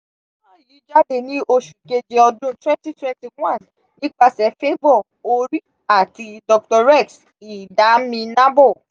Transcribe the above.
fọ́nrán yìí jáde ní oṣù keje ọdún (2021 ) nípasẹ̀ favour orí àti dr rex idaminabo.